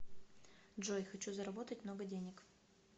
джой хочу заработать много денег